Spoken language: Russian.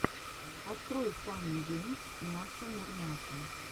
открой фанни геймс няша мурмяша